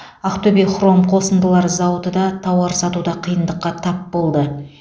ақтөбе хром қосындылары зауыты да тауар сатуда қиындыққа тап болды